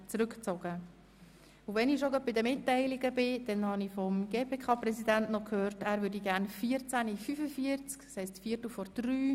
Der Antrag wird somit stillschweigend angenommen und das Geschäft in die Märzsession verschoben.